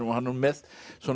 nú með